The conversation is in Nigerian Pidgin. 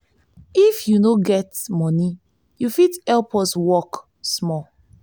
if you no get moni you fit help us work small.